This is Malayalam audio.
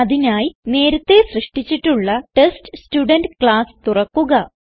അതിനായി നേരത്തേ സൃഷ്ടിച്ചിട്ടുള്ള ടെസ്റ്റ്സ്റ്റുഡെന്റ് ക്ലാസ് തുറക്കുക